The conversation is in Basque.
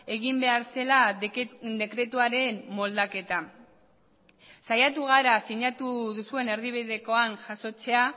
egin behar zela dekretuaren moldaketa saiatu gara sinatu duzuen erdibidekoan jasotzea